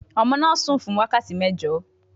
Ọmọ náà sùn fún wákàtí mẹ́jọ